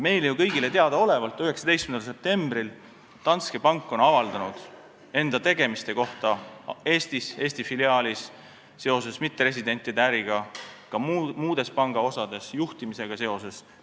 Meile kõigile teadaolevalt avaldas Danske pank 19. septembril üsna mahuka aruande enda tegemiste kohta Eesti filiaalis seoses mitteresidentide äriga ja ka muude panga osade kohta, juhtimisega seoses.